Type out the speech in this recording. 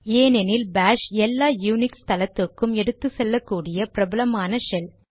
ஏனெனில் பாஷ் எல்லா யூனிக்ஸ் தளத்துக்கும் எடுத்துச்செல்லக் கூடிய பிரபலமான ஷெல்